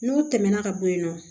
N'o tɛmɛna ka bɔ yen nɔ